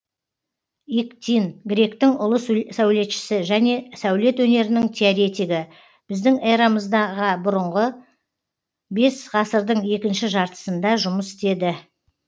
иктин гректің ұлы сәулетшісі және сәулет өнерінің теоретигі біздің эрамыз ға бұрынғы бесінші ғасырдың екінші жартысында жұмыс істеді